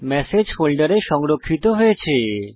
message ফোল্ডারে সংরক্ষিত হয়েছে